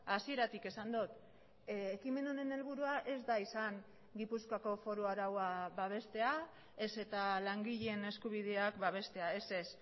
hasieratik esan dut ekimen honen helburua ez da izan gipuzkoako foru araua babestea ez eta langileen eskubideak babestea ez ez